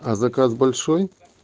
а заказ большой